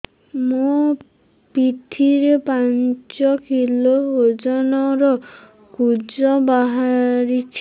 ମୋ ପିଠି ରେ ପାଞ୍ଚ କିଲୋ ଓଜନ ର କୁଜ ବାହାରିଛି